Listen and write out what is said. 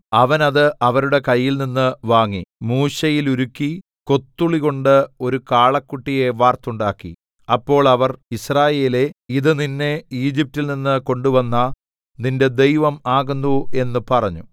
അവൻ അത് അവരുടെ കയ്യിൽനിന്ന് വാങ്ങി മൂശയിലുരുക്കി കൊത്തുളികൊണ്ട് ഒരു കാളക്കുട്ടിയെ വാർത്തുണ്ടാക്കി അപ്പോൾ അവർ യിസ്രായേലേ ഇത് നിന്നെ ഈജിപ്റ്റിൽ നിന്ന് കൊണ്ടുവന്ന നിന്റെ ദൈവം ആകുന്നു എന്ന് പറഞ്ഞു